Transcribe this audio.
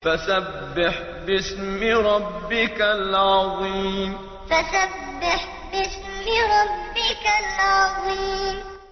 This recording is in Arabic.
فَسَبِّحْ بِاسْمِ رَبِّكَ الْعَظِيمِ فَسَبِّحْ بِاسْمِ رَبِّكَ الْعَظِيمِ